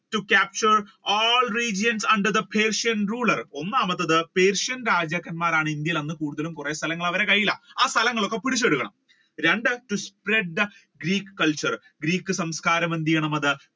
to capture all region under the persian ruler ഒന്നാമത്തത് Persian രാജാക്കന്മാർ ആണ് അന്ന് ഇന്ത്യയിൽ കൂടുതലും കുറെ സ്ഥലങ്ങൾ അവരുടെ കയ്യിലാണ് ആ സ്ഥലങ്ങളൊക്കെ പിടിച്ചെടുക്കണം, രണ്ട് to spread the greek culture Greek സംസ്കാരം എന്ത് ചെയ്യണം അത്